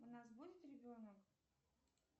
у нас будет ребенок